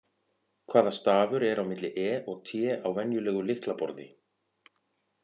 Hvaða stafur er á milli E og T á venjulegu lyklaborði?